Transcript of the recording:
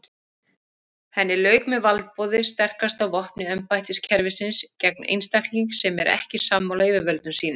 Henni lauk með valdboði sterkasta vopni embættiskerfisins gegn einstaklingi sem er ekki sammála yfirvöldum sínum.